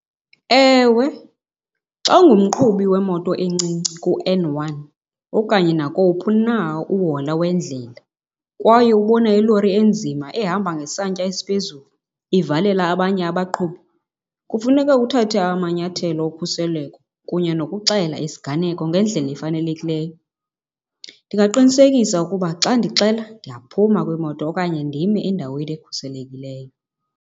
Ewe, xa ungumqhubi wemoto encinci kuN one okanye nakowuphi na uhola wendlela kwaye ubona ilori enzima ehamba ngesantya esiphezulu ivalela abanye abaqhubi, kufuneka uthathe amanyathelo okhuseleko kunye nokuxela isiganeko ngendlela efanelekileyo. Ndingaqinisekisa ukuba xa ndixela ndiyaphuma kwimoto okanye ndime endaweni ekhuselekileyo.